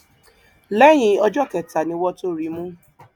lẹyìn ọjọ kẹta ni wọn tóó rí i mú